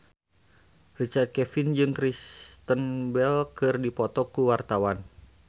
Richard Kevin jeung Kristen Bell keur dipoto ku wartawan